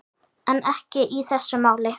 En ekki í þessu máli.